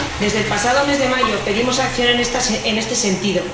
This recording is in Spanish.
Desde el pasado mes de mayo pedimos acción en este sentido.